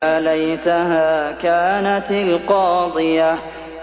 يَا لَيْتَهَا كَانَتِ الْقَاضِيَةَ